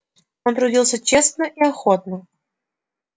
он трудился честно и охотно